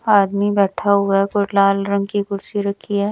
आदमी बैठा हुआ है कोई लाल रंग की कुर्सी रखी है।